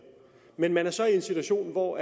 men men så er i en situation hvor